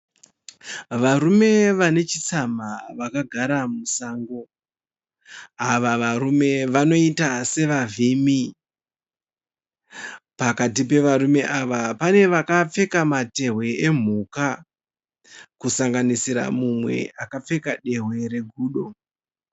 varume vanechitsamha vakagara musango. Ava varume vanoita sevavhimi. Pakati pevarume ava panevakapfeka matewe emuka kusanganisira mumwe akapfeka dewe regudo